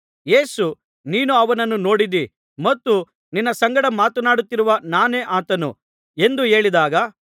ಯೇಸು ನೀನು ಅವನನ್ನು ನೋಡಿದ್ದೀ ಮತ್ತು ನಿನ್ನ ಸಂಗಡ ಮಾತನಾಡುತ್ತಿರುವ ನಾನೇ ಆತನು ಎಂದು ಹೇಳಿದಾಗ